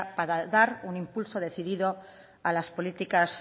para dar un impulso decidido a las políticas